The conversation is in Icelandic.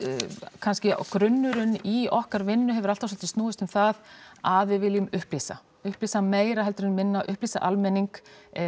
kannski grunnurinn í okkar vinnu hefur alltaf svolítið snúist um það að við viljum upplýsa upplýsa meira heldur en minna upplýsa almenning